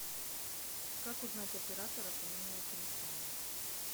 как узнать оператора по номеру телефона